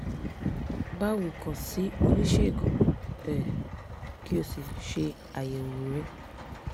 báwo kàn sí oníṣègùn um kí o sì ṣe àyẹ̀wò rẹ̀